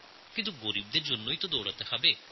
কিন্তু গরীবদের জন্য আমাদের আরও কাজ করতে হবে